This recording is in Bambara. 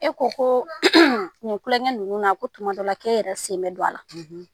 E ko koo nin kulɔŋɛ ninnu na ko tuma dɔ la k'e yɛrɛ sen bɛ don a la.